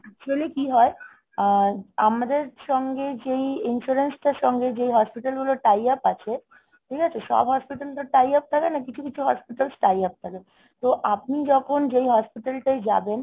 actually কি হয়? আহ আমাদের সঙ্গে যেই insurance টার সঙ্গে যেই hospital গুলোর tie up আছে, ঠিক আছে? সব hospital তো tie up থাকে না। কিছু কিছু hospital tie up থাকে তো আপনি যখন যেই hospital টায় যাবেন,